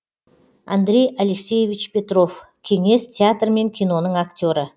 андрей алексеевич петро в кеңес театр мен киноның актері